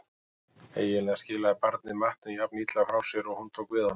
Eiginlega skilaði barnið matnum jafn illa frá sér og hún tók við honum.